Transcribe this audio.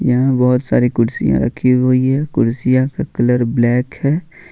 यहां बहुत सारी कुर्सियां रखी हुई है कुर्सियों का कलर ब्लैक है।